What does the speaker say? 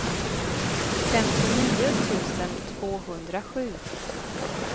femtionio tusen tvåhundrasju